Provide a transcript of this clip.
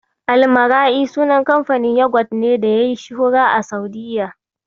Almara'i sunan kamfanin yagwat ne da yayi shuhura a Sa'udiyya.